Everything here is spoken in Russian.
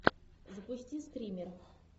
запусти стример